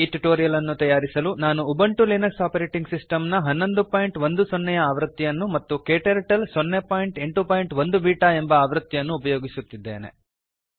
ಈ ಟ್ಯುಟೋರಿಯಲ್ ಅನ್ನು ತಯಾರಿಸಲು ನಾನು ಉಬಂಟು ಲಿನಕ್ಸ್ ಒಎಸ್ ನ 1110 ನೇ ಆವೃತ್ತಿಯನ್ನು ಮತ್ತು ಕ್ಟರ್ಟಲ್ 081 ಬೀಟಾ ಎಂಬ ಆವೃತ್ತಿಯನ್ನು ಉಪಯೋಗಿಸುತ್ತಿದ್ದೇನೆ